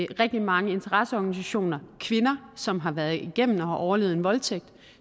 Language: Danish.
rigtig mange interesseorganisationer og kvinder som har været igennem og har overlevet en voldtægt og